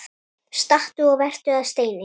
Stattu og vertu að steini